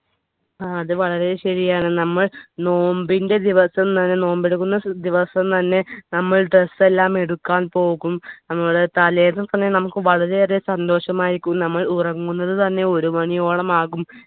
അത് വളരെ ശരിയാണ് നമ്മൾ നോമ്പിന്റെ ദിവസം തന്നെ നോമ്പ് എടുക്കുന്ന ദിവസം തന്നെ നമ്മൾ dress എല്ലാം എടുക്കാൻ പോകും നമ്മള് തലയ്‍ന്ന് ഒക്കെ തന്നെ നമുക്ക് വളരെയേറെ സന്തോഷമായിരിക്കും നമ്മൾ ഉറങ്ങുന്നത് തന്നെ ഒരു മണിയോളം ആകും